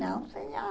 Não, senhora.